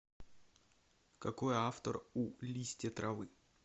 какой автор у листья травы